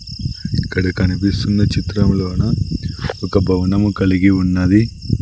ఇక్కడ కనిపిస్తున్న చిత్రములోన ఒక భవనము కలిగి ఉన్నది.